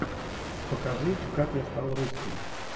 покажи как я стал русским